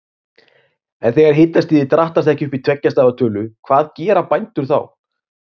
En þegar hitastigið drattast ekki upp í tveggja stafa tölu, hvað gera bændur þá?